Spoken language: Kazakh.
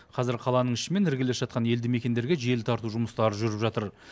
қазір қаланың ішімен іргелес жатқан елді мекендерге желі тарту жұмыстары жүріп жатыр